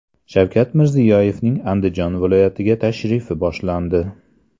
Shavkat Mirziyoyevning Andijon viloyatiga tashrifi boshlandi.